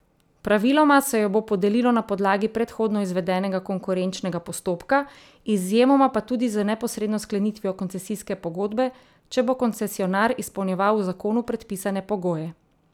Praviloma se jo bo podelilo na podlagi predhodno izvedenega konkurenčnega postopka, izjemoma pa tudi z neposredno sklenitvijo koncesijske pogodbe, če bo koncesionar izpolnjeval v zakonu predpisane pogoje.